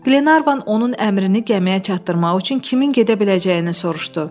Glenarvan onun əmrini gəmiyə çatdırmaq üçün kimin gedə biləcəyini soruşdu.